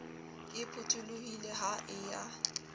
e phutholohile ha e ya